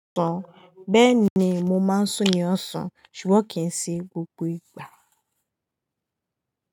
Bẹ́ẹ̀ni, mo máa ń sún ni ọsàn ṣùgbọ́n kì í ṣe gbogbo ìgbà.